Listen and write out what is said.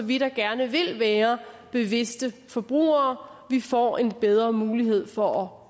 vi der gerne vil være bevidste forbrugere får en bedre mulighed for